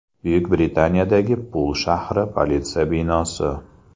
Buyuk Britaniyadagi Pul shahri politsiyasi binosi.